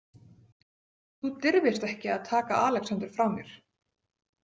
Þú dirfist ekki að taka Alexander frá mér